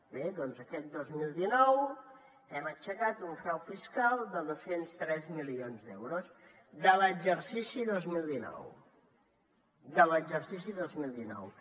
bé doncs aquest dos mil dinou hem aixecat un frau fiscal de dos cents i tres milions d’euros de l’exercici dos mil dinou de l’exercici dos mil dinou